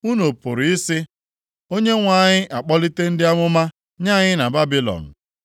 Unu pụrụ ị sị, “ Onyenwe anyị akpọlite ndị amụma nye anyị na Babilọn.”